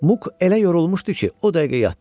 Muk elə yorulmuşdu ki, o dəqiqə yatdı.